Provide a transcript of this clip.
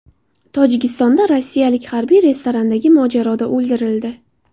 Tojikistonda rossiyalik harbiy restorandagi mojaroda o‘ldirildi.